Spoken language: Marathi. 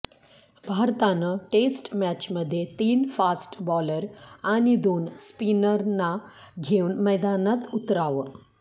भारतानं टेस्ट मॅचमध्ये तीन फास्ट बॉलर आणि दोन स्पिनरना घेऊन मैदानात उतरावं